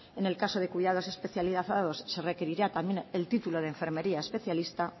en el caso de cuidados especializados se requerirá también el título de enfermería especialista